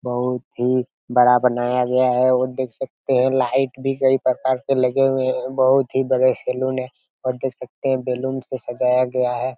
बहुत ही बड़ा बनाया गया है और देख सकते है लाइट भी कई प्रकार के लगे हुए है बहुत ही बड़े सैलून है और देख सकते है बैलून से सजाया गया है।